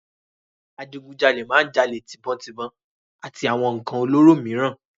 Adígun jalè máa ń jalè tíbọn tibòn àti àwọn ǹkàn olóró mìíràn.